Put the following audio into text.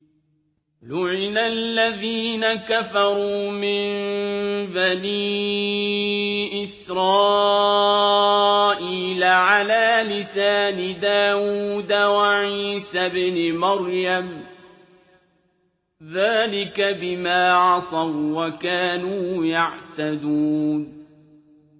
لُعِنَ الَّذِينَ كَفَرُوا مِن بَنِي إِسْرَائِيلَ عَلَىٰ لِسَانِ دَاوُودَ وَعِيسَى ابْنِ مَرْيَمَ ۚ ذَٰلِكَ بِمَا عَصَوا وَّكَانُوا يَعْتَدُونَ